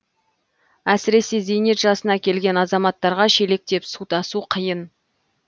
әсіресе зейнет жасына келген азаматтарға шелектеп су тасу қиын